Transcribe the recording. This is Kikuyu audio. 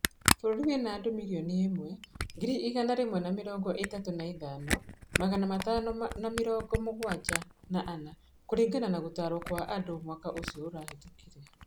Bũrũri wĩna andũ mirioni ĩmwe, ngiri igana rĩmwe na mĩrongo ĩtatũ na ithano, magana matano na mĩrongo mũgwanja na ana kũringana na gũtarwo kwa andũ mwaka ũcio ũrahĩtũkire.